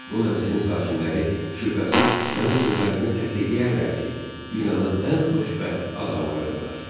Bu mənzilin sakinləri şübhəsiz mənim sözlərimi təsdiqləyərlər ki, dünyanın ən xoşbəxt adamlarıdırlar.